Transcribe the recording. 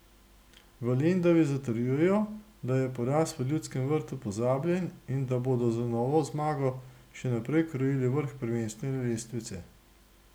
V Lendavi zatrjujejo, da je poraz v Ljudskem vrtu pozabljen in da bodo z novo zmago še naprej krojili vrh prvenstvene lestvice.